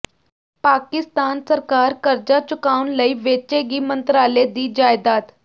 ਪਾਕਿਸਤਾਨ ਸਰਕਾਰ ਕਰਜ਼ਾ ਚੁਕਾਉਣ ਲਈ ਵੇਚੇਗੀ ਮੰਤਰਾਲੇ ਦੀ ਜਾਇਦਾਦ